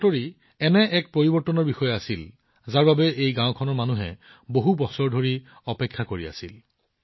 এই খবৰটো এনে এটা পৰিৱৰ্তনৰ বিষয়ে আছিল যাৰ বিষয়ে এই গাওঁখনৰ মানুহে বহু বছৰ ধৰি অপেক্ষা কৰি আছিল